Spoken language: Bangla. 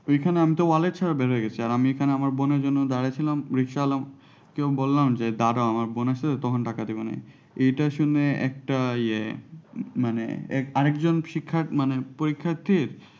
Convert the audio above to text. ওইখানে আমি তো wallet ছাড়া বের হয়ে গেছি আর আমি এখানে বোনের জন্য দাঁড়ায় ছিলাম রিক্সাওয়ালাকে বললাম যে দাড়াও যে আমার বোন আসছে তখন টাকা দেবে নি এইটা শুনে একটা ইয়ে মানে আরেকজন শিক্ষা মানে পরীক্ষার্থীর